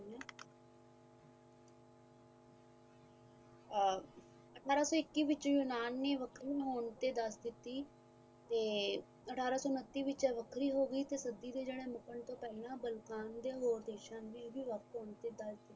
ਅਠਾਰਾਂ ਸੋ ਇੱਕੀ ਵਿੱਚ ਯੂਨਾਨ ਨੇ ਵੱਖਰੀ ਹੋਣ ਤੇ ਦੱਸ ਦਿੱਤੀ ਤੇ ਅਠਾਰਾਂ ਸੋ ਉੱਨਤੀ ਵਿੱਚ ਇਹ ਵੱਖਰੀ ਹੋ ਗਈ ਤੇ ਸਦੀ ਤੋਂ ਪਹਿਲਾ ਬੰਗਾਲ ਤੇ ਹੋਰ ਦੇਸ਼ਾਂ ਲਈ